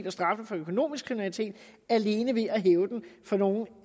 og straffen for økonomisk kriminalitet alene ved at hæve den for nogle